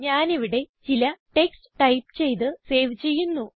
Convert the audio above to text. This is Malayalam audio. ഞാനിവിടെ ചില ടെക്സ്റ്റ് ടൈപ്പ് ചെയ്ത് സേവ് ചെയ്യുന്നു